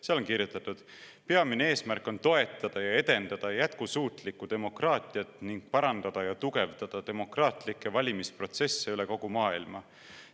Seal on kirjutatud: "Peamine eesmärk on toetada ja edendada jätkusuutlikku demokraatiat ning parandada ja tugevdada demokraatlikke valimisprotsesse üle kogu maailma.